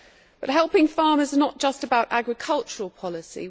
But helping farmers is not just about agricultural policy.